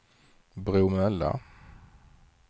Bromölla